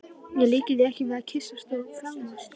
Ég líki því ekki við að kyssast og faðmast.